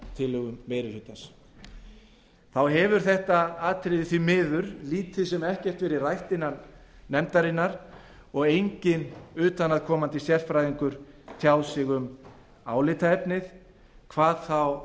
í breytingartillögum meiri hlutans þá hefur þetta atriði því miður lítið sem ekkert verið rætt innan fjárlaganefndar og enginn utanaðkomandi sérfræðingur tjáð sig um álitaefnið hvað þá